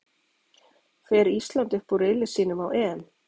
Fer Ísland upp úr riðli sínum á EM?